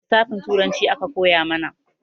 Lisafin turanci aka koya mana